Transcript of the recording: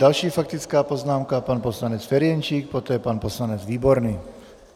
Další faktická poznámka - pan poslanec Ferjenčík, poté pan poslanec Výborný.